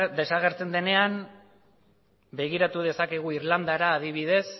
desagertzen denean begiratu dezakegu irlandara adibidez